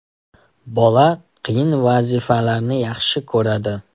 Bola qiyin vazifalarni yaxshi ko‘radi.